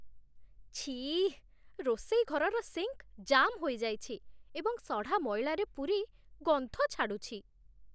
ଛିଃ, ରୋଷେଇ ଘରର ସିଙ୍କ୍ ଜାମ୍ ହୋଇଯାଇଛି ଏବଂ ସଢ଼ା ମଇଳାରେ ପୂରି ଗନ୍ଧ ଛାଡ଼ୁଛି।